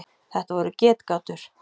Þetta voru getgátur.